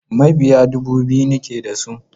Mabiya dubu biyu nake da su.